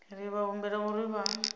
ri vha humbela uri vha